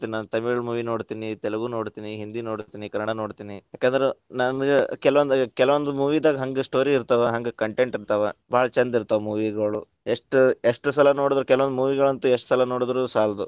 ನಾನ್ ನಾನ್‌ ತಮಿಳ್‌ movie ನೋಡ್ತಿನಿ ತೆಲುಗು ನೋಡ್ತಿನಿ , ಹಿಂದಿ ನೋಡ್ತಿನಿ. ಕನ್ನಡಾ ನೋಡ್ತಿನಿ. ಯಾಕಂದ್ರ ನನಗ ಕೆಲವೊಂದ್, ಕೆಲವೊಂದ್ movie ದಾಗ ಹಂಗ್ ‌story ಇರ್ತಾವ. ಹಂಗ್‌ content ಇರ್ತಾವ. ಭಾಳ ಛಂದ ಇರ್ತಾವ movie ಗಳು ಎಷ್ಟ್ ಎಷ್ಟ್ ಸಲಾ ನೋಡಿದ್ರು ಕೆಲವೊಂದ್‌ movie ಗಳಂತು ಎಷ್ಟ್ ಸಲಾ ನೋಡಿದ್ರು ಸಾಲದು.